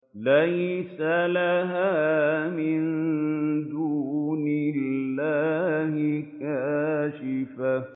لَيْسَ لَهَا مِن دُونِ اللَّهِ كَاشِفَةٌ